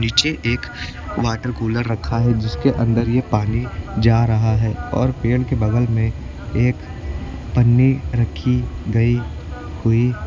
नीचे एक water cooler रखा है जिसके अंदर ये पानी जा रहा है और पेड़ के बगल में एक पन्नी रखी गई हुई --